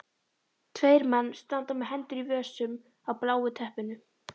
Tveir menn standa með hendur í vösum á bláu teppinu.